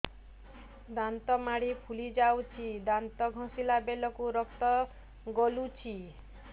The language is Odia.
ଦାନ୍ତ ମାଢ଼ୀ ଫୁଲି ଯାଉଛି ଦାନ୍ତ ଘଷିଲା ବେଳକୁ ରକ୍ତ ଗଳୁଛି